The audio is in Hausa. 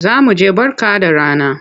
Za mu je Barka da rana.